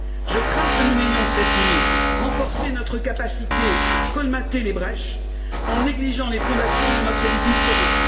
Je crains que nous n'ayons, cette nuit, renforcé notre capacité à colmater les brèches, en négligeant les fondations de notre édifice commun.